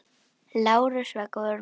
Lárus var góður maður.